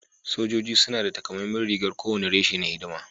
Sojoji suna da takamaiman rigar kowane reshe na hidima